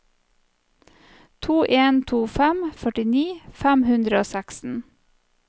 to en to fem førtini fem hundre og seksten